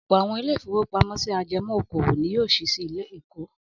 Ọ̀pọ̀ àwọn ilé-ìfowópamọ́sí ajẹmọ́ okòwò ni yóò ṣí sí Èkó.